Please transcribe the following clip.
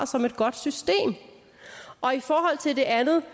som et godt system og i forhold til det andet